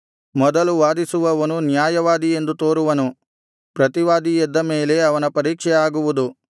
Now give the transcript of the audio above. ಮೊದಲು ವಾದಿಸುವವನು ನ್ಯಾಯವಾದಿ ಎಂದು ತೋರುವನು ಪ್ರತಿವಾದಿ ಎದ್ದ ಮೇಲೆ ಅವನ ಪರೀಕ್ಷೆ ಆಗುವುದು